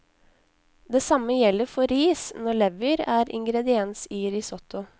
Det samme gjelder for ris når lever er ingrediens i risotto.